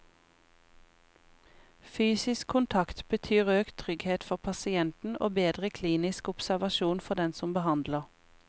Fysisk kontakt betyr økt trygghet for pasienten og bedre klinisk observasjon for den som behandler.